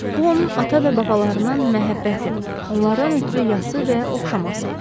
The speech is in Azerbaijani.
Bu onun ata və babalarına məhəbbəti, onlardan ötrü yası və oxşaması idi.